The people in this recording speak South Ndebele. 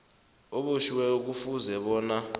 obotjhiweko kufuze bona